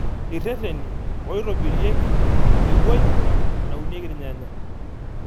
Irreteni ooitobirieki ewueji naunieki irnyanya.